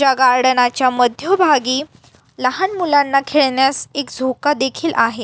या गार्डना च्या मध्यभागी लहान मुलांना खेळण्यास एक झोका देखील आहे.